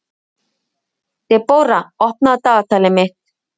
Debóra, opnaðu dagatalið mitt.